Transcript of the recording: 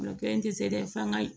O kelen tɛ se dɛ f'an ka